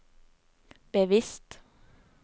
bevisst